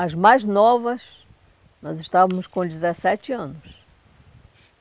As mais novas, nós estávamos com dezessete anos.